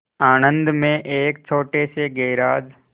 आणंद में एक छोटे से गैराज